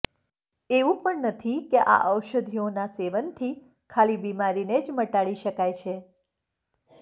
એવું પણ નથી કે આ ઔષધિઓનાં સેવનથી ખાલી બીમારી ને જ મટાડી શકાય છે